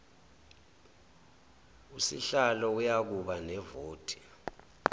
usihlalo uyakuba nevoti